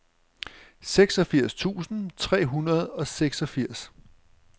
seksogfirs tusind tre hundrede og seksogfirs